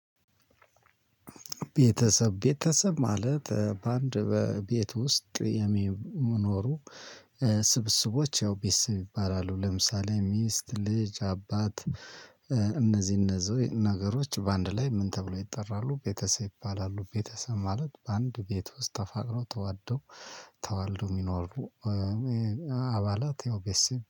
ቤተሰብ ቤተሰብ ማለት በአንድ ቤት ውስጥ የሚኖሩ። ስብስቦች ያው ቤተሰብ ይባላሉ ለምሳሌ ሚስት ልጅ አባት። እነዚህ እነዚህ ነገሮች በአንድ ላይ ምን ተብሎ ይጠራሉ? ቤተሰብ ይባላሉ። ቤተሰብ ማለት በአንድ ቤት ውስጥ ተፋቅረው ተዋልደው ተዋልደው የሚኖሩ። አባላት ያው ቤተሰብ